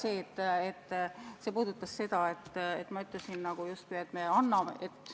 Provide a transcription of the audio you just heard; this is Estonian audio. Ah jaa, see puudutas seda, et ma ütlesin justkui, et me anname ...